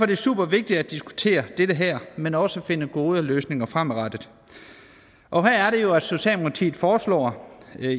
det supervigtigt at diskutere det her men også at finde gode løsninger fremadrettet og her er det jo at socialdemokratiet foreslår